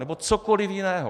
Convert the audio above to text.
Nebo cokoli jiného.